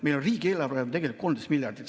Meil on riigieelarve tegelikult 13 miljardit.